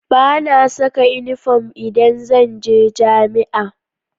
Ba na saka inifom idan zan je jami'a